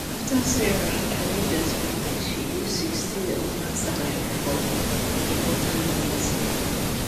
after sarah arrange her spendings she use 60 of her salary for important things